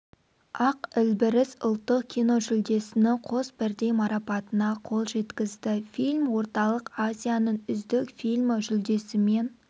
ақ ілбіріс ұлттық киножүлдесінің қос бірдей марапатына қол жеткізді фильм орталық азияның үздік фильмі жүлдесімен